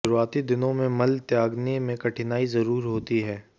शुरुआती दिनों में मल त्यागने में कठिनाई जरुर होती है